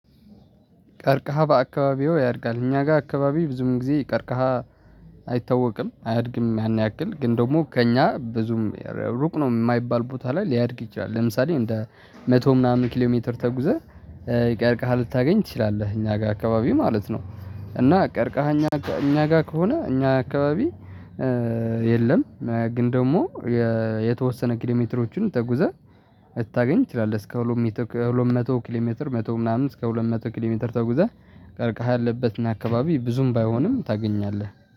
ቀርቀሃ በአካባቢው ያድጋል እኛ ጋር አካባቢ ብዙም ጊዜ ቀርቀሃ አይታወቅም አያድግም። ያን ያክል ግን ደግሞ ከእኛ ብዙም ሩቅ ነው የማይባል ቦታ ላይ ሊያድግ ይችላል። ለምሳሌ እንደ መቶ ምናምን ኪሎ ሜትር ተጉዘህ ቀርቀሃል ልታገኝ ትችላለህ እኛ ጋር አካባቢ ማለት ነው። እና ቀርቀሃል እኛ እኛ ጋር ከሆነ እኛ አካባቢ የለም። ግን ደግሞ የተወሰነ ኪሎሜትሮችን ተጉዘህ ልታገኝ ትችላለህ እስከ ሁለት መቶ ኪሎሜትር መቶ ምናምን እስከ ሁለት መቶ ኪሎሜትር ተጉዘህ ቀርቃህ ያለበትና አካባቢ ብዙም ባይሆንም ታገኛለህ